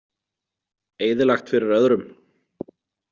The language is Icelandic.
Eyðilagt fyrir öðrum.